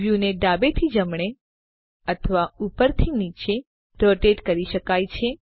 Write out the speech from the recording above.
વ્યુને ડાબે થી જમણે અથવા ઉપરથી નીચે રોટેટ કરી શકાય છે